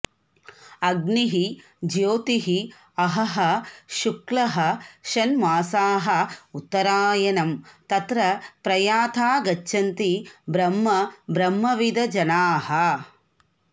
अग्निः र्ज्योतिः अहः शुक्लः षण्मासाः उत्तरायणम् तत्र प्रयाता गच्छन्ति ब्रह्म ब्रह्मविदः जनाः